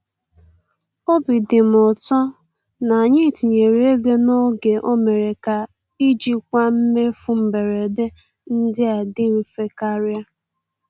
Obi dị m ụtọ na anyị tinyere ego n'oge—o mere ka ijikwa mmefu mberede ndị a dị mfe karịa.